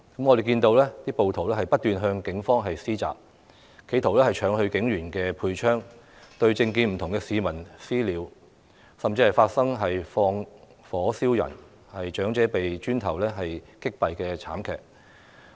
我們看到暴徒不斷向警方施襲，企圖搶走警員的配槍，對政見不同的市民"私了"，甚至放火燒人、長者被磚頭擊斃的慘劇。